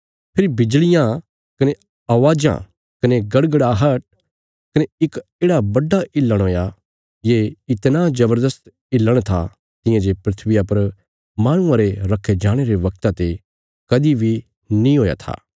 फेरी बिजल़ियां कने आवाज़ां कने गड़गड़ाहट कने इक येढ़ा बड्डा हिलण हुया ये इतणा जबरदस्त हिलण था तियां जे धरतिया पर माहणुआं रे रक्खे जाणे रे वगता ते कदीं बी नीं हुया था